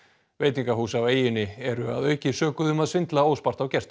veitingahús á eyjunni eru að auki sökuð um að svindla óspart á gestum